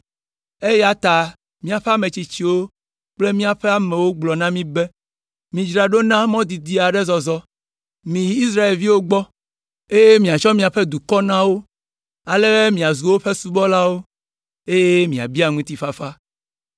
eya ta míaƒe ametsitsiwo kple míaƒe amewo gblɔ na mí be, ‘Midzra ɖo na mɔ didi aɖe zɔzɔ. Miyi Israelviwo gbɔ, eye miatsɔ míaƒe dukɔ na wo, ale be míazu woƒe subɔlawo, eye miabia ŋutifafa.’